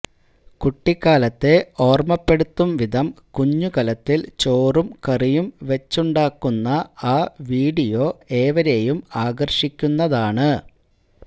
കുട്ടിക്കാലത്തെ ഓർമപ്പെടുത്തും വിധം കുഞ്ഞു കലത്തിൽ ചോറും കറിയും വെച്ചുണ്ടാക്കുന്ന ആ വീഡിയോ ഏവരെയും ആകർഷിക്കുന്നതാണ്